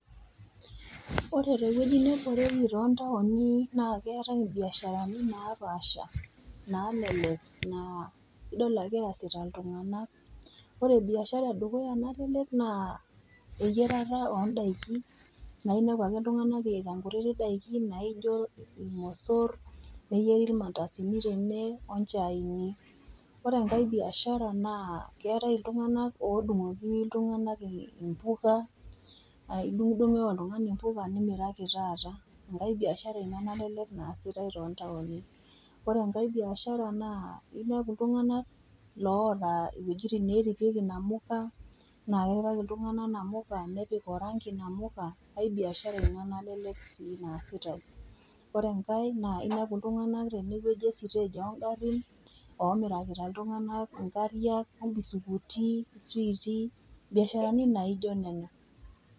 Ore teweji neboreki tontaoni naa keatai imbiasharani naapaasha nalelek naa idol ake easita iltung'ana, ore biashara edukuya nalelek naa eyerata o ndaiki, naa inepu ake iltung'ana eyaita nkutiti daiki naijo ilmosor, neyeri ilmandasini tene oo nchaini. Ore enkai biashara naa keatai iltung'ana odung'oki iltung'ana imboga, idung'udung'oki oltung'ana imboga nimiraki taata, enkai biashara ina nalelek naasitai too ntaoni. Ore enkai biashara naa inepu iltung'ana loata iwejitin neripieki inamuka, naa keripaki iltung'ana inamuka, nepik orangi inamuka ai biashara ina naasitai tontaoni. Ore enkai naa inepu iltung'ana teneweji estage o ngarin omirakita iltung'ana inkariak, ompisukuti, iswitii, imbiasharani naijo nena.